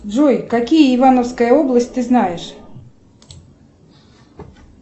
джой какие ивановская область ты знаешь